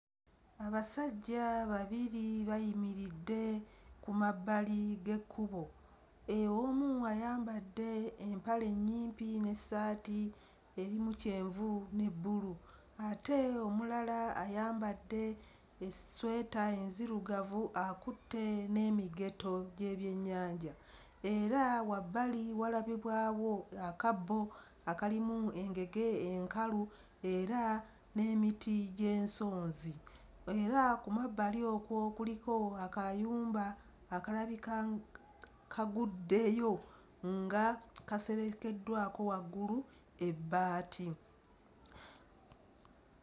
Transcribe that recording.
Abasajja babiri bayimiridde ku mabbali g'ekkubo: omu ayambadde empale nnyimpi n'essaati erimu kyenvu ne bbulu ate omulala ayambadde essweta enzirugavu akutte n'emigeto gy'ebyennyanja era wabbali walabibwawo akabbo akalimu engege enkalu era n'emiti gy'ensonzi era ku mabbali okwo kuliko akayumba akalabika kaguddeyo nga kaserekeddwako waggulu ebbaati.